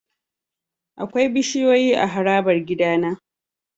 Akwai bishiyoyi a harabar gidana.